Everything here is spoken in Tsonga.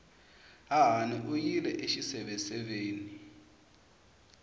hahani u yile exiseveseveni